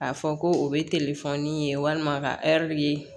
A fɔ ko o bɛ ye walima ka ye